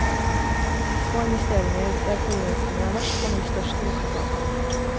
Små investeringer der forurensningen er verst, kan gi størst resultat.